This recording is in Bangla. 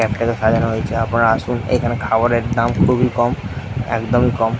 ফায়দা রয়েছে আপনারা আসুন এখানে খাবারের দাম খুবই কম একদমই কম।